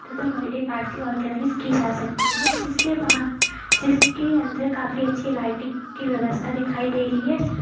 Birthday party organise की जा सकती है जिसके बाहर जिसके अंदर काफी अच्छी लाइटिंग की व्यवस्था दिखाई दे रही है।